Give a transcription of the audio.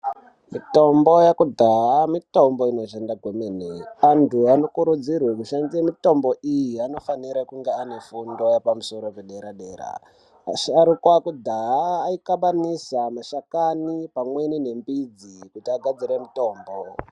Mitombo yekudhaya mitombo inoshanda kwemene antu anokurudzirwe kushandise mitombo iyi anofanire kunge ane fundo yepamusoro paderadera, asharuka ekudhaya aihlanganisa mashakani pamweni nemidzi kuti agadzire mutombo.